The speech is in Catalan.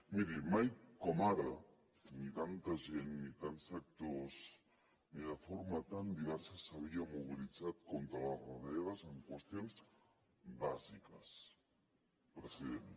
miri mai com ara ni tanta gent ni tants sectors ni de forma tan diversa s’havien mobilitzat contra les retallades en qüestions bàsiques president